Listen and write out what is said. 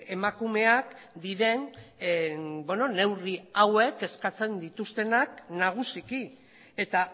emakumeak diren neurri hauek eskatzen dituztenak nagusiki eta